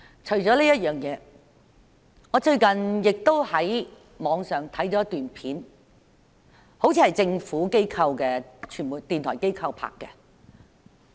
除此之外，我最近也在網上看了一段影片，那好像是政府的電台傳媒機構拍攝的。